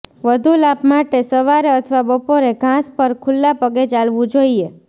વધુ લાભ માટે સવારે અથવા બપોરે ઘાસ પર ખુલ્લા પગે ચાલવું જોઈએ